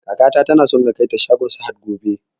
Kaka tana so na kaita shagon sahad gobe